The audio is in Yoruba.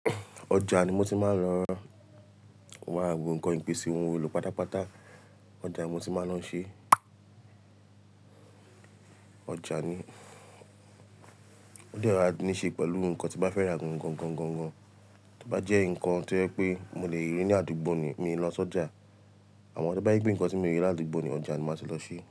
Ọjà ni mo ti máa ń lọ ra gbogbo ǹkan yẹn pèsè ohun ìwúlò pátápátá. Ọjà ni mo ti máa ń lọ ṣe. Ọjà ni, o dẹ̀ ma ni i ṣe pẹ̀lú ǹkan tí n bá fẹ́ ra gangan. Tí ó bá jẹ́ ǹkan tí ó jẹ́ pé mo lè rí ní àdúgbò ni, mi ń lọ sọja. Àmọ́ tí ó bá jẹ́ pe ǹkan tí mi o le rí ní àdúgbò ni, ọjà ni màáti lọ ṣe.